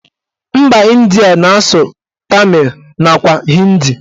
Mba Ịndia na-asụ tamịl nakwa hindi